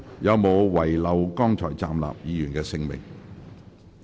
有沒有遺漏剛才站立的議員的姓名？